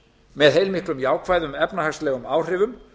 með heilmiklum jákvæðum efnahagslegum áhrifum